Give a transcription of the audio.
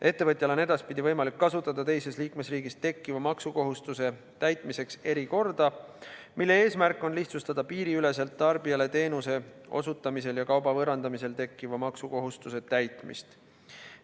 Ettevõtjal on edaspidi võimalik kasutada teises liikmesriigis tekkiva maksukohustuse täitmiseks erikorda, mille eesmärk on lihtsustada piiriüleselt tarbijale teenuse osutamisel ja kauba võõrandamisel tekkiva maksukohustuse täitmist.